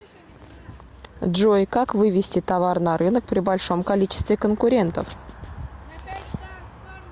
джой как вывести товар на рынок при большом количестве конкурентов